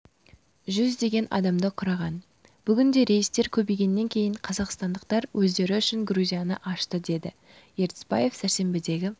жүздеген адамды құраған бүгінде рейстер көбейгеннен кейін қазақстандықтар өздері үшін грузияны ашты деді ертісбаев сәрсенбідегі